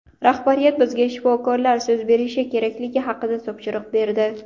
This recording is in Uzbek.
Rahbariyat bizga shifokorlar so‘z berishi kerakligi haqida topshiriq berdi.